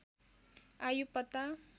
आयु पत्ता